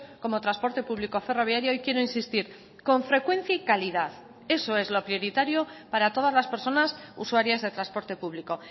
como transporte público ferroviario y quiero insistir con frecuencia y calidad eso es lo prioritario para todas las personas usuarias de transporte público